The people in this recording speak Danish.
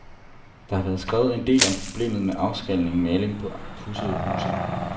Der har været skrevet en del om problemet med afskallende maling på pudsede huse.